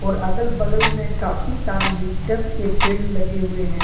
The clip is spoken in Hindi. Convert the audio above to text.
अगल बगल में काफी सारे लिप्टस के पड़े लगे हुए हैं।